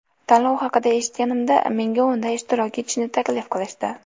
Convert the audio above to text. Tanlov haqida eshitganimda menga unda ishtirok etishni taklif qilishdi.